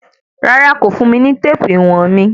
Rárá, kò fùn mi ní téèpù íwọ̀n mi.